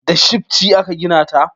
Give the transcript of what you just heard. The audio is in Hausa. Da shifci aka gina ta